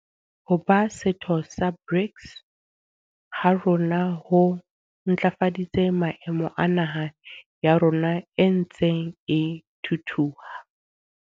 Ho ba setho sa BRICS ha rona ho ntlafaditse maemo a naha ya rona e ntseng e thuthuha.